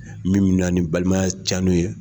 Min bɛ na ni balimaya cɛni ye.